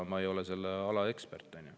Ma ei ole selle ala ekspert.